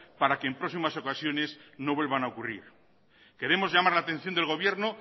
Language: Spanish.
para que en próximas ocasiones no vuelvan a ocurrir queremos llamar la atención del gobierno